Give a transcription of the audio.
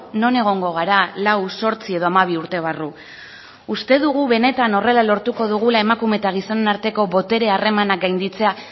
non egongo gara lau zortzi edo hamabi urte barru uste dugu benetan horrela lortuko dugula emakume eta gizonen arteko botere harremanak gainditzea